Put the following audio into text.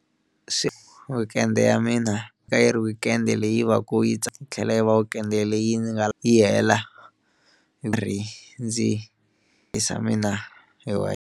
Swi weekend ya mina a yi ri weekend leyi va ku yi tlhela yi va weekend leyi ndzi nga yi hela ndzi mina hi .